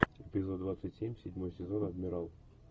эпизод двадцать семь седьмой сезон адмирал